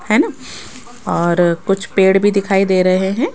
है न और कुछ पेड़ भी दिखाई दे रहे हैं।